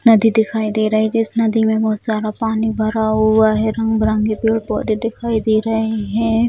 नदी दिखाई दे रहे है जिस नदी में बोहत सारा पानी भरा हुआ है रंग-बिरंगे पेड़-पौधे दिखाई दे रहे है।